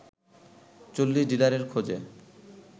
৪০ ডিলারের খোঁজে